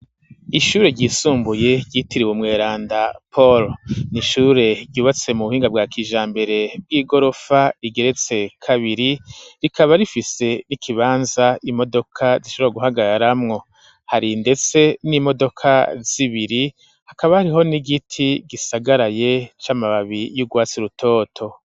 Ishure ryisumbuye ryitiriwe umweranda pahulo n'ishure ryubatse mu buhinga bwa kijambere bw'igorofa rigeretse kabiri rikaba rifise n'ikibanza imodoka zishobora guhagaramwo hari ndetse n'imodoka z'ibiri hakaba hariho n'igiti gisagaraye c'amababi y'ugwatsi rutoto.